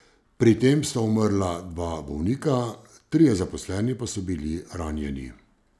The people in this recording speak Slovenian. Pri tem sta umrla dva bolnika, trije zaposleni pa so bili ranjeni.